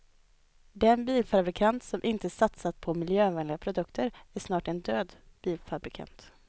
Den bilfabrikant som inte satsar på miljövänliga produkter är snart en död bilfabrikant.